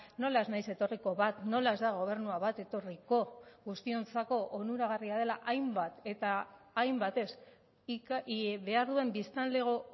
nola ez naiz etorriko bat nola ez da gobernua bat etorriko guztiontzako onuragarria dela hainbat eta hainbatez behar duen biztanlego